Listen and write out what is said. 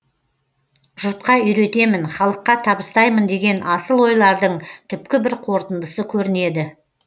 жұртқа үйретемін халыққа табыстаймын деген асыл ойлардың түпкі бір қорытындысы көрінеді